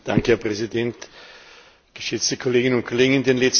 Herr Präsident, geschätzte Kolleginnen und Kollegen!